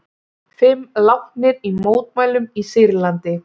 Fimm látnir í mótmælum í Sýrlandi